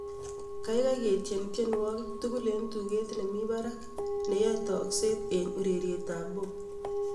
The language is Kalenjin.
kaigai ketien tienwogik tugul en tuget nemi barak neyoe tokseet en ureryet ab pop